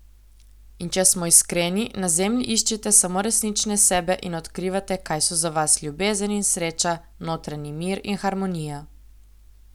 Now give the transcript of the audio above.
In če smo iskreni, na zemlji iščete samo resnične sebe in odkrivate, kaj so za vas ljubezen in sreča, notranji mir in harmonija...